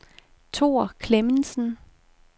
Thor Klemmensen